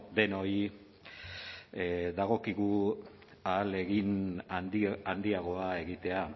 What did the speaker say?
denoi dagokigu ahalegin handiagoa egitea